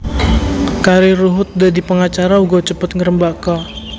Karir Ruhut dadi pengacara uga cepet ngrembaka